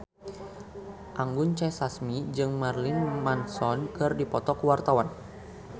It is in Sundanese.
Anggun C. Sasmi jeung Marilyn Manson keur dipoto ku wartawan